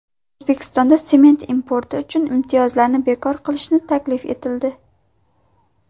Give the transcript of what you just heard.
O‘zbekistonda sement importi uchun imtiyozlarni bekor qilishni taklif etildi.